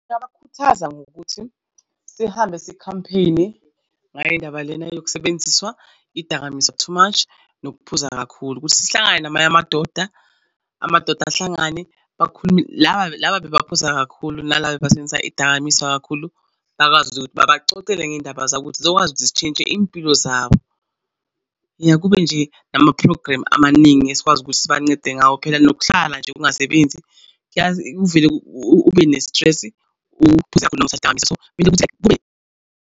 Ngingabakhuthaza ngokuthi sihambe si-campaign-e ngayo indaba lena yokusebenziswa idakamizwa too much nokuphuza kakhulu ukuthi sihlangane namanye amadoda amadoda ahlangane bakhulume laba, laba bebaphuza kakhulu nalaba bebasebenzisa idakamizwa kakhulu. Bakwazi ukuthi ukuthi babacocele ngendaba zabo ukuthi zizokwazi ukuthi sitshintshe iy'mpilo zabo. Yah kube nje nama-program amaningi esikwazi ukuthi sibancede ngawo. Phela nokuhlala nje ungasebenzi uvele ube ne-stress uphuze kakhulu .